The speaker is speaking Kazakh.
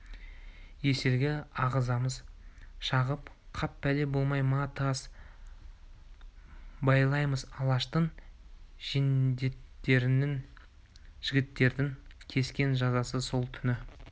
есілге ағызамыз шығып қап пәле болмай ма тас байлаймыз алаштың жендеттеріне жігіттердің кескен жазасы сол түні